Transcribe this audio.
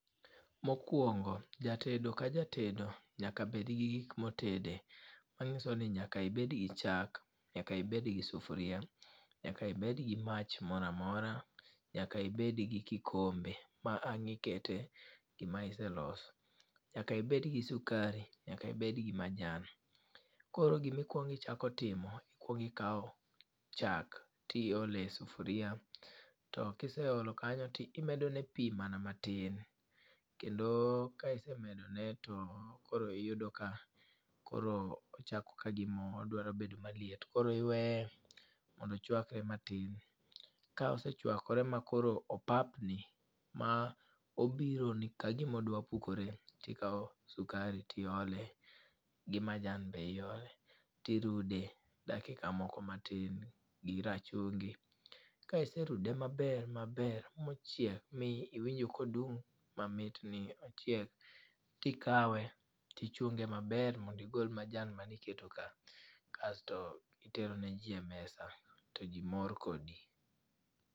Mokwongo jatedo ka jatedo nyaka bed gi gik ma otede. Ma nyiso ni nyaka ibed gi chak, nyaka ibed gi sufria, nyaka ibed gi mach moro amora, nyaka ibed gi kikombe ma ang' ikete gima iseloso. Nyaka ibed gi sukari, nyaka ibed gi majan. Koro gima ikwongo ichako timo, ikwongo ikawo chak to iolo e sufria, to kiseolo kanyo to imedo ne pi mana matin. Kendo ka isemedone to koro iyudo ka koro ochako ka gima odwa bedo maliet. Koro iwee mondo ochwakre matin. Ka osechwakore ma koro opapni, ma obironi ka gima odwa pukore, ikawo sukari to iole, gi majan be iole, ti irude dakika moko matin, gi rachungi. Ka iserude maber maber, ma ochiek, ma iwinjo ka ondung' mamit ni ochiek. To ikawe ti chunge maber mondo igol majan mane iketo ka. Kasto itero ne ji e mesa, to ji mor kodi.